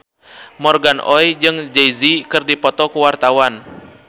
Morgan Oey jeung Jay Z keur dipoto ku wartawan